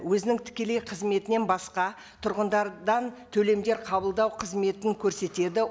өзінің тікелей қызметінен басқа тұрғындардан төлемдер қабылдау қызметін көрсетеді